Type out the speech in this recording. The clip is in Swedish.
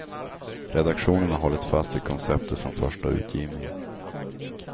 Redaktionen har hållit fast vid konceptet från första utgivningen.